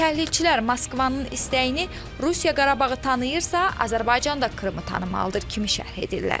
Təhlilçilər Moskvanın istəyini "Rusiya Qarabağı tanıyırsa, Azərbaycan da Krımı tanımalıdır" kimi şərh edirlər.